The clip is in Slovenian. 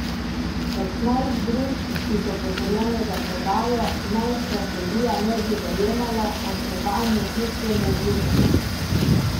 Petnajstih družb, ki so potrjene za prodajo, naj strategija ne bi zajemala, a so vanjo kljub temu vključene.